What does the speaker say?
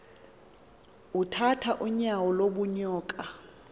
utrath unyauo lubunvoko